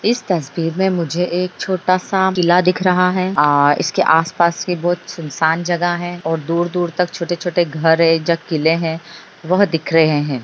इस तस्वीर में मुझे एक छोटा सा किला दिख रहा है आ इसके आसपास भी बहुत सुनसान जगह हैं और दूर-दूर तक छोटे-छोटे घर हैं जो किले हैं वह दिख रहें हैं।